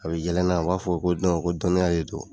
A bi yɛlɛ n na, u b'a fɔ ko ko dɔnniya re don